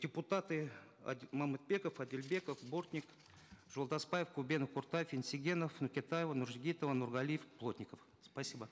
депутаты мамытбеков адильбеков бортник жолдасбаев кубенов кортаев енсегенов нокетаева нуржигитова нургалиев плотников спасибо